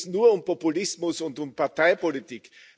Denen geht es nur um Populismus und um Parteipolitik.